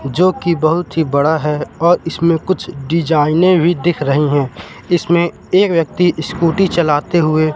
जोकि बहोत ही बड़ा है और इसमें कुछ डिजाइने भी दिख रही हैं इसमें ये व्यक्ति स्कूटी चलाते हुए--